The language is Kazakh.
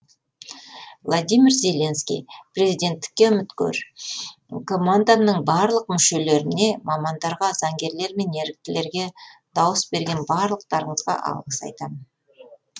владимир зеленский президенттікке үміткер командамның барлық мүшелеріне мамандарға заңгерлер мен еріктілерге дауыс берген барлықтарыңызға алғыс айтамын